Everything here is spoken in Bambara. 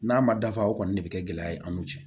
N'a ma dafa o kɔni de bɛ kɛ gɛlɛya ye an n'u cɛ